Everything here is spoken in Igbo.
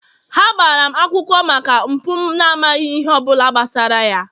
ha gbara m akwụkwọ maka mpụ m maghị ihe ọ bụla gbasara ya